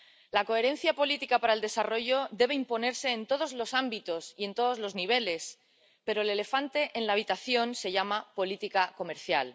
La coherencia política para el desarrollo debe imponerse en todos los ámbitos y en todos los niveles, pero el elefante en la habitación se llama política comercial.